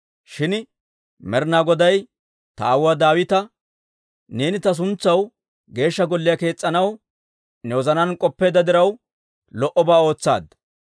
Shin Med'inaa Goday ta aawuwaa Daawita, ‹Neeni ta suntsaw Geeshsha Golliyaa kees's'anaw ne wozanaan k'oppeedda diraw, lo"obaa ootsaadda.